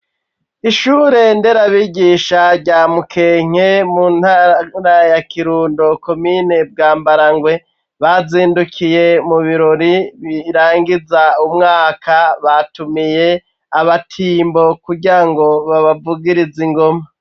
Ishure nderabigisha rya mukenke mu ntaraya kirundo komine bwa mbarangwe bazindukiye mu birori birangiza umwaka batumiye abatimbo kurya ngo babavugiriza ingoma.